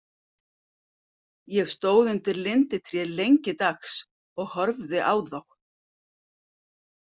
Ég stóð undir linditré lengi dags og horfði á þá.